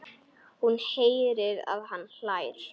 Hún heyrir að hann hlær.